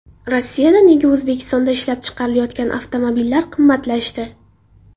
Rossiyada nega O‘zbekistonda ishlab chiqarilayotgan avtomobillar qimmatlashdi?